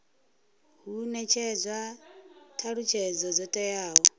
hu netshedzwa thalutshedzo dzo teaho